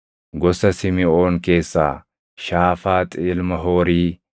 gosa Simiʼoon keessaa Shaafaaxi ilma Hoorii;